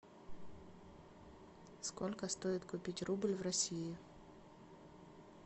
сколько стоит купить рубль в россии